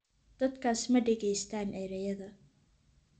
Dadkaas ma dhegaystaan ​​erayada